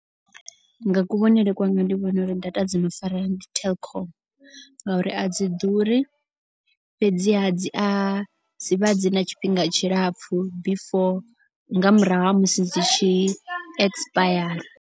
Nga kuvhonele kwanga ndi vhona uri data dzino farea ndi telkom. Ngauri a dzi ḓuri fhedziha dzi a dzivha dzi na tshifhinga tshilapfu before nga murahu ha musi dzi tshi ekisipayara.